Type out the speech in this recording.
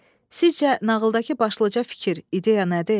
Sizcə nağıldakı başlıca fikir, ideya nədir?